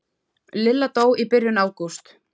Lilla dó í byrjun ágúst.